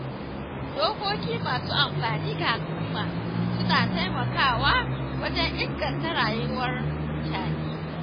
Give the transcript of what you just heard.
Dokoki masu amfani ga al’umma, suna taimakawa wajen inganta rayuwar mutane.